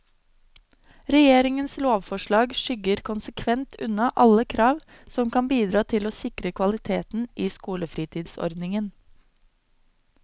Regjeringens lovforslag skygger konsekvent unna alle krav som kan bidra til å sikre kvaliteten i skolefritidsordningen.